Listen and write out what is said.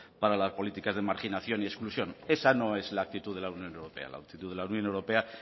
para la políticas de marginación y exclusión esa no es la actitud de la unión europea la actitud de la unión europea